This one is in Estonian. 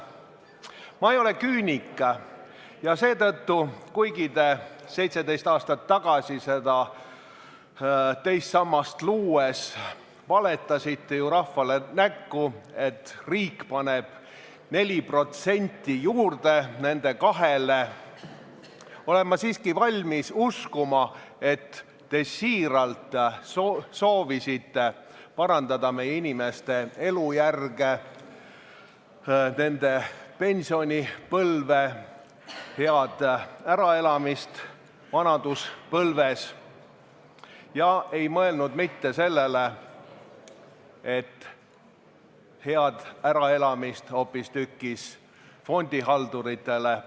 Ma ei ole küünik ja seetõttu – kuigi te 17 aastat tagasi seda teist sammast luues valetasite rahvale näkku, et riik paneb 4% nende 2%-le juurde – olen ma siiski valmis uskuma, et te siiralt soovisite parandada meie inimeste elujärge, nende pensionipõlve ja head äraelamist vanaduspõlves ega mõelnud sellele, et pakkuda head äraelamist hoopistükkis fondihalduritele.